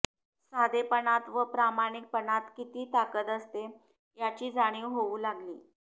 साधेपणात व प्रामाणिकपणात किती ताकद असते याची जाणीव होऊ लागली